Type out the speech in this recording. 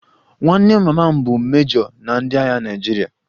Nwanne mama m bụ mejo na ndị agha Naịjirịa